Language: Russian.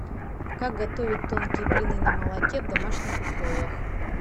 как готовить тонкие блины на молоке в домашних условиях